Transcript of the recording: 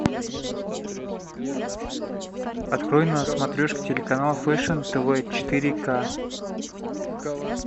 открой на смотрешке телеканал фэшн тв четыре к